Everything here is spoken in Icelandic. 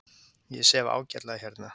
Ég sef ágætlega hérna.